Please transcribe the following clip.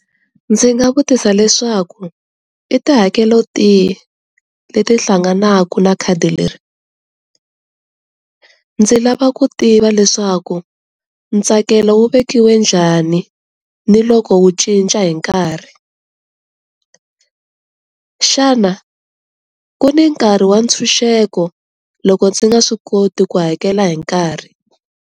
Ndzi nga vutisa leswaku i tihakelo tihi leti hlanganaka na khadi leri, ndzi lava ku tiva leswaku ntsakelo wu vekiweke njhani ni loko wu cinca hi nkarhi. Xana ku ni nkarhi wa ntshunxeko loko ndzi nga swi koti ku hakela hi nkarhi?